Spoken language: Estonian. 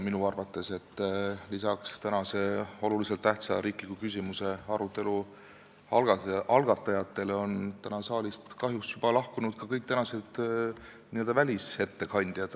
Minu arvates on üsna huvitav, et lisaks tänase olulise tähtsusega riikliku küsimuse arutelu algatajatele on saalist kahjuks juba lahkunud ka kõik n-ö välisettekandjad.